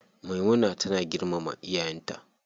Maimuna tana girmama iyayen ta.